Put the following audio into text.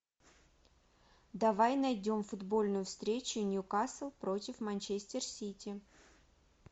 давай найдем футбольную встречу нью касл против манчестер сити